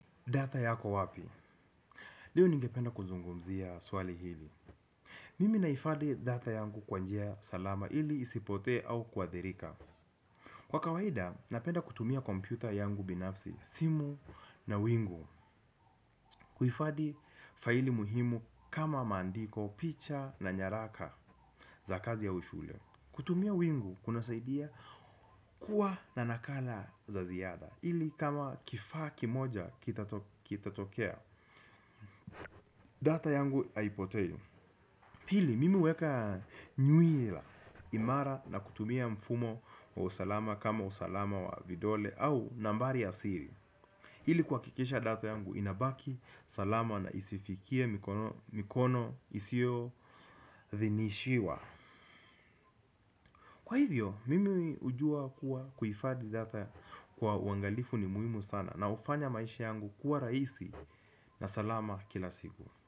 Data yako wapi? Ndio ningependa kuzungumzia swali hili. Mimi naifadhi 'data' yangu kwa njia salama ili isipotee au kuadhirika. Kwa kawaida, napenda kutumia kompyuta yangu binafsi, simu na wingu. Kuhifadhi faili muhimu kama maandiko, picha na nyaraka za kazi au shughuli. Kutumia wingu kunasaidia, kuwa na nakala za ziada. Ili kama kifaa kimoja kitatokea 'Data' yangu haipotei. Pili, mimi huweka nywela imara na kutumia mfumo wa usalama kama usalama wa vidole au nambari ya siri. Ili kuhakikisha 'data' yangu inabaki, salama na isifikie mikono isiyo idhinishiwa. Kwa hivyo, mimi hujua kuwa kuhifadhi 'data' kwa uangalifu ni muhimu sana na hufanya maisha yangu kuwa rahisi, na salama kila siku.